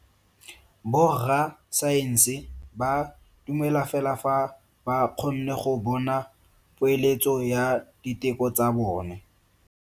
Borra saense ba dumela fela fa ba kgonne go bona poeletso ya diteko tsa bone.